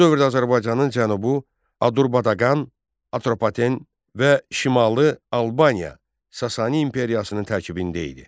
Bu dövrdə Azərbaycanın cənubu Adurbaqan, Atropaten və şimalı Albaniya Sasani imperiyasının tərkibində idi.